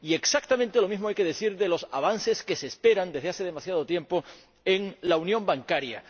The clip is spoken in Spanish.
Y exactamente lo mismo hay que decir de los avances que se esperan desde hace demasiado tiempo en la unión bancaria.